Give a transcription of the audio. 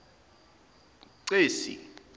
cesi